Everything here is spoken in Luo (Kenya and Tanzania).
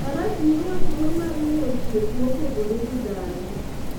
Faras miyowa thuolo mar ng'eyo chwech mopogore gi dhano.